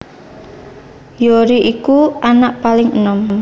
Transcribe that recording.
Hyori iku anak paling enom